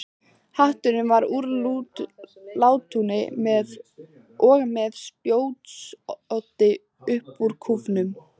Hatturinn var úr látúni og með spjótsoddi upp úr kúfnum.